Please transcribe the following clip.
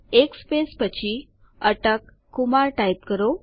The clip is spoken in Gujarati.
એક સ્પેસ પછી અટક કુમાર ટાઈપ કરો